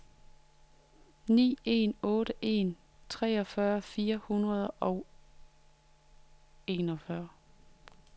ni en otte en treogfyrre fire hundrede og enogfyrre